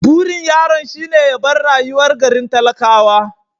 Burin yaron shine ya bar rayuwar garin talakawa.